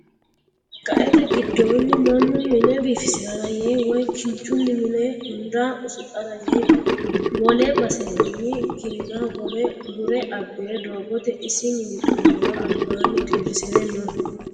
Qaete giddoni mannu mine biifisirara yee woyi kinchunni mine hunda usudhara yee wole basenni ki'na hogowo gure abbire doogote isi mini xu'lora albaanni dirisire no.